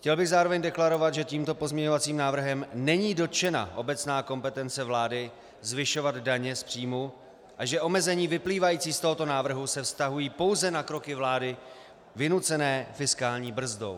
Chtěl bych zároveň deklarovat, že tímto pozměňovacím návrhem není dotčena obecná kompetence vlády zvyšovat daně z příjmu a že omezení vyplývající z tohoto návrhu se vztahují pouze na kroky vlády vynucené fiskální brzdou.